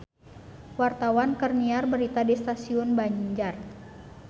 Wartawan keur nyiar berita di Stasiun Banjar